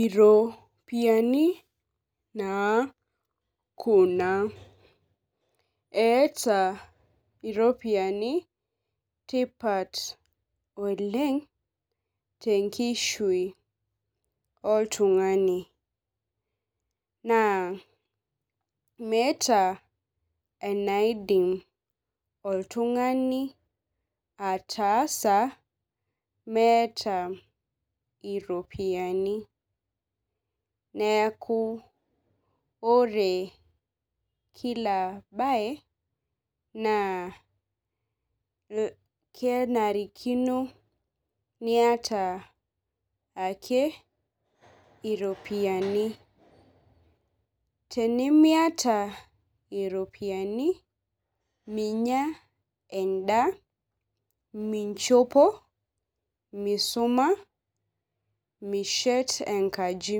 Iropiyiani naa Kuna, eeta iropiyiani tipat oleng, tenkishui oltungani, naa meeta enaidim oltungani ataasa meeta iropiyiani. neeku ore Kila bae, naa kenarikino niyata ake iropiyiani. tenimiata iropiyiani, minyia edaa, minchopo, misumata, mishet enkaji.